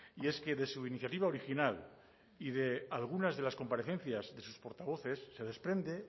y es que de su iniciativa original y de algunas de las comparecencias de sus portavoces se desprende